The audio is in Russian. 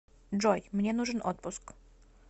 джой мне нужен отпуск